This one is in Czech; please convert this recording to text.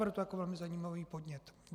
Beru to jako velmi zajímavý podnět.